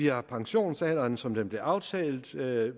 har pensionsalderen som den blev aftalt ved